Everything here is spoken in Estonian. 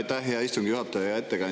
Aitäh, hea istungi juhataja!